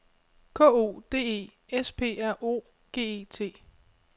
K O D E S P R O G E T